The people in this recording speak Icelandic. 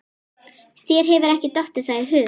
Þér hefur ekki dottið það í hug?